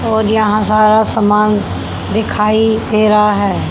और यहां सारा सामान दिखाई दे रहा है।